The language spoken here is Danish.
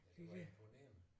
Det var imponerende